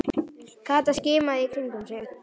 Kata skimaði í kringum sig.